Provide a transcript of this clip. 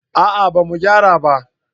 a'a ba mu gyara ba